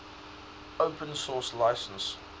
open source license